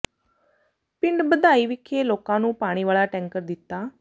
ਪਿੰਡ ਬਧਾਈ ਵਿਖੇ ਲੋਕਾਂ ਨੂੰ ਪਾਣੀ ਵਾਲਾ ਟੈਂਕਰ ਦਿੱਤਾ